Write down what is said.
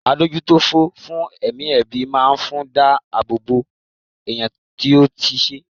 Adójútòfò fún ẹ̀mí ẹbí máa fún dá àbọ̀ bò ẹ̀yàn tí ó ṣe.